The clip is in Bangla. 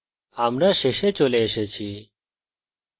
আমরা we tutorial শেষে চলে এসেছি